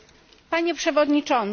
Panie przewodniczący!